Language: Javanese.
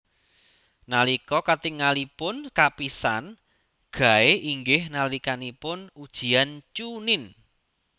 Nalika katingalipun kapisan Guy inggih nalikanipun ujian chuunin